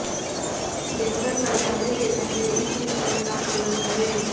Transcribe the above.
बिस्तर पर जाने से पहले इस मिश्रण का सेवन करें